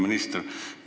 Hea minister!